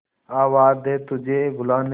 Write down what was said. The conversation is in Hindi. आवाज दे तुझे बुलाने